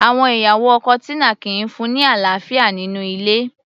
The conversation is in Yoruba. Àwọn ìyàwó ọkọ Tina kìí fún-un ní àlàáfíà nínú ilé